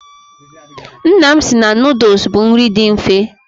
Nna m si na nuduls bụ nri dị mfe.